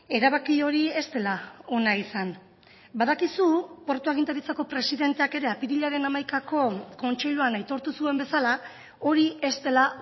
erabaki hori ez dela ona izan badakizu portu agintaritzako presidenteak ere apirilaren hamaikako kontseiluan aitortu zuen bezala hori ez dela